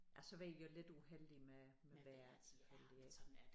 Ja så var I også lidt uheldige med med vejret selvfølgelig ik